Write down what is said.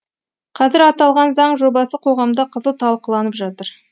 қазір аталған заң жобасы қоғамда қызу талқыланып жатыр